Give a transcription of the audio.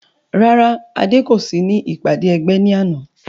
Rárá Adé kò sí ní ìpàdé ẹgbẹ́ ní àná